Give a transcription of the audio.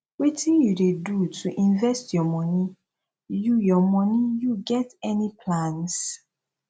wetin you dey do to invest your money you your money you get any plans